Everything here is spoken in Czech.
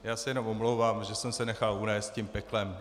Já se jenom omlouvám, že jsem se nechal unést tím peklem.